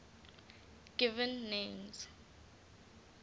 given names